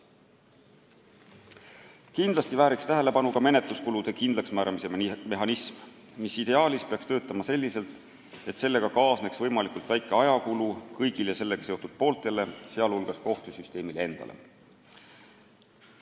Kindlasti väärib tähelepanu ka menetluskulude kindlaksmääramise mehhanism, mis ideaalis peaks töötama selliselt, et sellega kaasneks võimalikult väike ajakulu kõigile seotud pooltele, sh kohtusüsteemile endale.